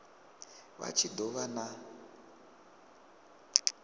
vha tshi do vha na